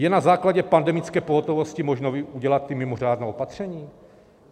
Je na základě pandemické pohotovosti možno udělat ta mimořádná opatření?